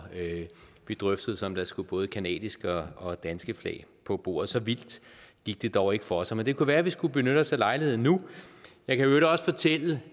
vi drøftede så om der skulle både canadiske og danske flag på bordet så vildt gik det dog ikke for sig men det kunne være vi skulle benytte os af lejligheden nu jeg kan i øvrigt også fortælle